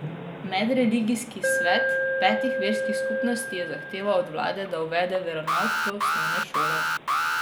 Medreligijski svet petih verskih skupnosti je zahteval od vlade, da uvede veronauk v osnovne šole.